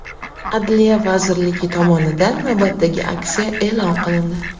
Adliya vazirligi tomonidan navbatdagi aksiya e’lon qilindi.